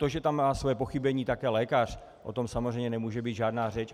To, že tam má své pochybení také lékař, o tom samozřejmě nemůže být žádná řeč.